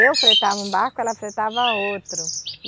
Eu fretava um barco, ela fretava outro.